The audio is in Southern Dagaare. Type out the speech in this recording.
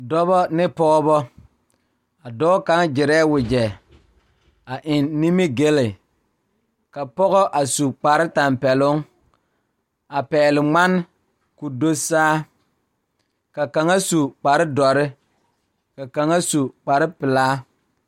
Dɔɔba ne Pɔgeba kaa pɔge nyoŋ dɔɔ nu ka katawiɛ Kyaara ka dɔɔ a su dagakparo ka pɔge a gyere wagye a le kodo kaa dɔɔba a gyere wagyere.